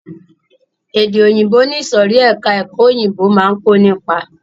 Èdè òyìnbó ni ìsòrí ẹka ẹ̀kọ́ òyìnbó máa ń kó nípa.